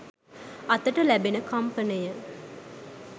අතට ලැබෙන කම්පනය